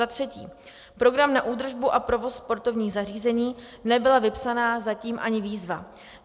Za třetí, program na údržbu a provoz sportovních zařízení, nebyla vypsaná zatím ani výzva.